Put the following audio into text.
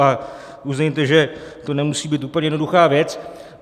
A uznejte, že to nemusí být úplně jednoduchá věc.